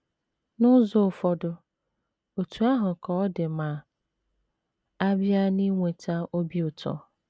N’ụzọ ụfọdụ, otú ahụ ka ọ dị ma a bịa n’inweta obi ụtọ.